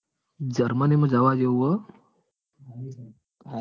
Germany માં જવા જેવું હ હારિ country હ